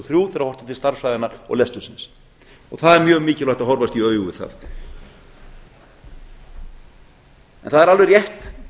þrjú þegar horft er til stærðfræðinnar og lestursins og það er mjög mikilvægt að horfast í augu við það það er alveg rétt